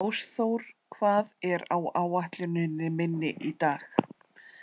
Ásþór, hvað er á áætluninni minni í dag?